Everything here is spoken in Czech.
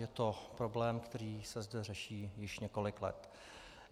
Je to problém, který se zde řeší již několik let.